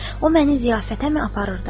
O məni ziyafətəmi aparırdı?